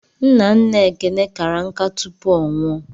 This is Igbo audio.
Nna nna Ekene kara nká tupu ọ nwụọ.